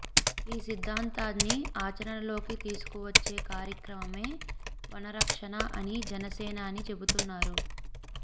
ఈ సిద్ధాంతాన్ని ఆచరణలోకి తీసుకువచ్చే కార్యక్రమమే వనరక్షణ అని జనసేనాని చెబుతున్నారు